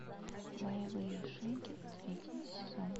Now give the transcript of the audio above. боевые шинки третий сезон